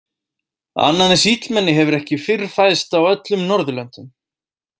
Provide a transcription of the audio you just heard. Annað eins illmenni hefur ekki fyrr fæðst á öllum Norðurlöndum.